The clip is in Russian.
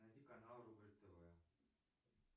найди канал рубль тв